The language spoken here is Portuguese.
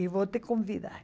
E vou te convidar.